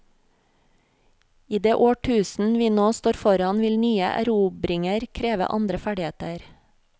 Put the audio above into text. I det årtusen vi nå står foran, vil nye erobringer kreve andre ferdigheter.